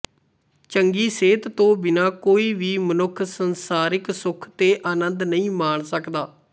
ਚੰਗੀ ਸਿਹਤ ਤੋਂ ਬਿਨ੍ਹਾਂ ਕੋਈ ਵੀ ਮਨੁੱਖ ਸੰਸਾਰਿਕ ਸੁੱਖ ਤੇ ਆਨੰਦ ਨਹੀਂ ਮਾਣ ਸਕਦਾ